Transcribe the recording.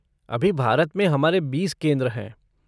अभी भारत में हमारे बीस केंद्र हैं।